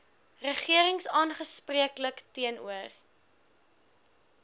regering aanspreeklik teenoor